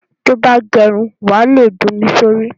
Tí o bá gẹ irun, wà á le da omi sórí.